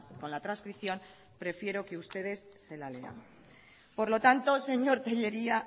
con la trascripción prefiero que ustedes se la lean por lo tanto señor tellería